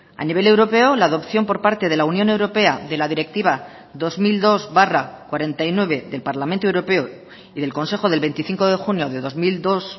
a nivel europeo la adopción por parte de la unión europea de la directiva dos mil dos barra cuarenta y nueve del parlamento europeo y del consejo del veinticinco de junio de dos mil dos